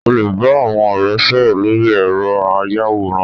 O lè bá àwọn ọ̀rẹ́ sọ̀rọ̀ lórí ẹ̀rọ ayàwòrán